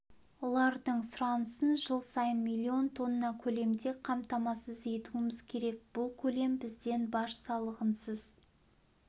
олардың сұранысын жыл сайын миллион тонна көлемде қамтамасыз етуіміз керек бұл көлем бізден баж салығынсыз